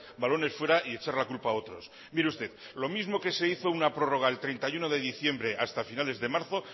balones fuera y echar la culpa a otros mire usted lo mismo que se hizo una prórroga el treinta y uno de diciembre hasta finales de marzo